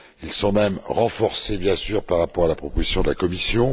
Ils sont même renforcés par rapport à la proposition de la Commission.